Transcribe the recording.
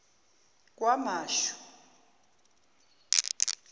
kwamashu